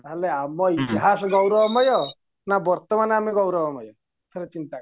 ତାହାଲେ ଆମ ଇତିହାସ ଗୌରବମୟ ନା ବର୍ତମାନ ଆମ ଗୌରବମୟ ଠାରେ ଚିନ୍ତା କର